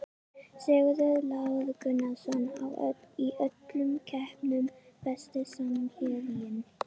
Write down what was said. Sigurður Lár Gunnarsson í öllum keppnum Besti samherjinn?